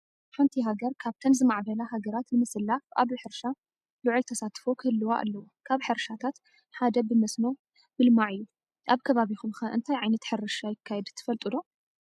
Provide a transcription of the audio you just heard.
ሓንቲ ሃገር ካብተን ዝማዕበላ ሃገራት ንምስላፍ ኣብ ሕርሻ ልዑል ተሳትፎ ክህልዋ ኣለዎ። ካብ ሕርሻታት ሓደ ብመስኖ ምልማዕ እዩ። ኣብ ከባቢኹም ኸ እንታይ ዓይነት ሕርሻ ይካየድ ትፈልጡ ዶ?